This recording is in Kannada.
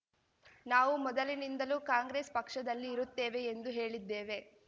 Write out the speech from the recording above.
ನಾವು ಮೊದಲಿನಿಂದಲೂ ಕಾಂಗ್ರೆಸ್ ಪಕ್ಷದಲ್ಲಿ ಇರುತ್ತೇವೆ ಎಂದು ಹೇಳಿದ್ದೇವೆ